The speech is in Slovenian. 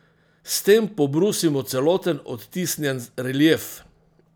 S tem pobrusimo celoten odtisnjen relief.